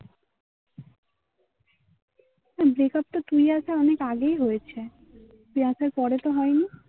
breakup তুই আসা অনেক আগেই হয়েছে. তুই আসার পরে তো হয়নি.